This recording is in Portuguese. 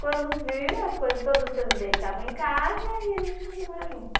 Quando viu, as coisas, todas as coisas dele estavam em casa, e a gente começou a morar junto.